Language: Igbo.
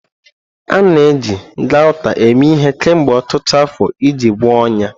A na-eji Gauta eme ihe kemgbe ọtụtụ afọ iji gwọọ ọnyá.